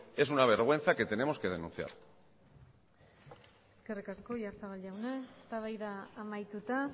es una vergüenza que tenemos que denunciar eskerrik asko oyarzabal jauna eztabaida amaituta